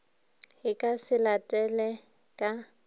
e ka se latele ka